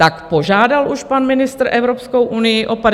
Tak požádal už pan ministr Evropskou unii o 54 miliard?